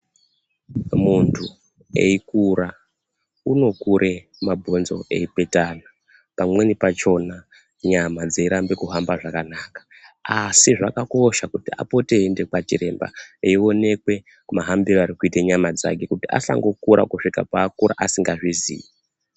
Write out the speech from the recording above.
Muntu eikura, unokure mabhonzo eipetana pamweni pachona nyama dzeiramba kuhamba zvakanaka. Asi zvakakosha kuti apote eiende kwachiremba eionekwe mahambiro ari kuita nyama dzake kuti asangokura kusvika paakura asingazvizii.